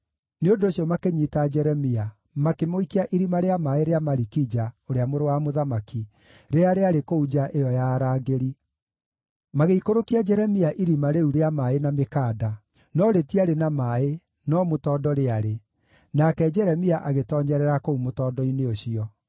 Nĩ ũndũ ũcio makĩnyiita Jeremia makĩmũikia irima rĩa maaĩ rĩa Malikija, ũrĩa mũrũ wa mũthamaki, rĩrĩa rĩarĩ kũu nja ĩyo ya arangĩri. Magĩikũrũkia Jeremia irima rĩu rĩa maaĩ na mĩkanda; no rĩtiarĩ na maaĩ, no mũtondo rĩarĩ, nake Jeremia agĩtoonyerera kũu mũtondo-inĩ ũcio.